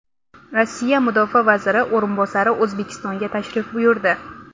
Rossiya mudofaa vaziri o‘rinbosari O‘zbekistonga tashrif buyurdi.